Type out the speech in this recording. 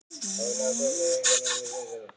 Þegar hann sá hvar Kamilla sat í hrókasamræðum við